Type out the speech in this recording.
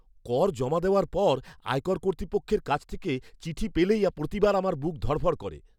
কর জমা দেওয়ার পর আয়কর কর্তৃপক্ষের কাছ থেকে চিঠি পেলেই প্রতিবার আমার বুক ধড়ফড় করে।